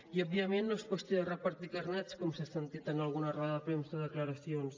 i òbviament no és qüestió de repartir carnets com s’ha sentit en alguna roda de premsa o declaracions